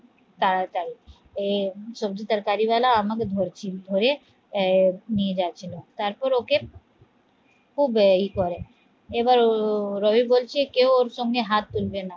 তাড়াতাড়ি এ সবজি তরকারিওয়ালা আমাকে ধরছি ধরে আহ এই নিয়ে যাচ্ছিল তারপর ওকে খুব ইয়ে করে এবার রবি বলছে কেউ ওর সঙ্গে হাত তুলবে না